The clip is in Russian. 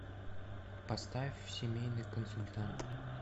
поставь семейный консультант